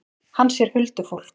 Hann sér huldufólk.